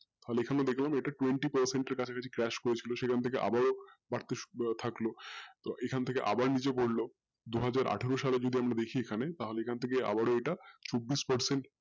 আর এখানে দেখলাম twenty percent এর কাছাকাছি crash করেছিল সেখান থেকে আবারও সবকিছু থাকলো তো এখন থেকে আবার নিচে পড়লো দুহাজার আঠেরো সাল থাকে আমরা দেখি এখানে তাহলে এখন থেকে আবারো এটা চব্বিশ percent